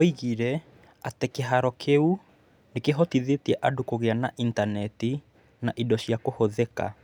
Oigire atĩ kĩhaaro kĩu nĩ kĩhotithĩtie andũ kũgĩa na intaneti na indo cia kũhũthĩka.